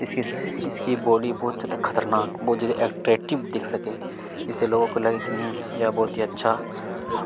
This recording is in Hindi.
इस इस इसकी बॉडी बहुत ज्यादा खतरनाक बहुत ज्यादा अट्रैक्टीव दिख सके इससे लोगों को लगे कि यह बोहोत ही अच्छा --